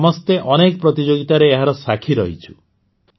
ଆମେ ସମସ୍ତେ ଅନେକ ପ୍ରତିଯୋଗିତାରେ ଏହାର ସାକ୍ଷୀ ରହିଛୁ